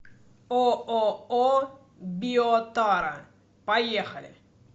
ооо биотара поехали